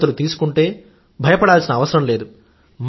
జాగ్రత్తలు తీసుకుంటే భయపడాల్సిన అవసరం లేదు